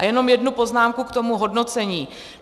A jenom jednu poznámku k tomu hodnocení.